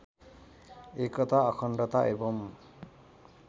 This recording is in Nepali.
एकता अखण्डता एवम्